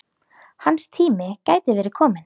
Hans tími gæti verið kominn.